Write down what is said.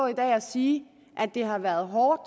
i dag og sige at det har været hårdt